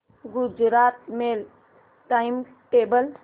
Gujarat mail time table